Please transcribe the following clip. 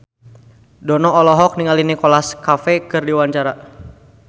Dono olohok ningali Nicholas Cafe keur diwawancara